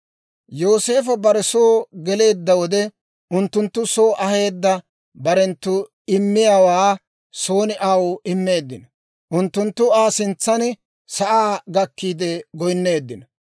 Yooseefo bare soo geleedda wode, unttunttu soo aheedda barenttu immiyaawaa son aw immeeddino; unttunttu Aa sintsan sa'aa gakkiide goynneeddinno.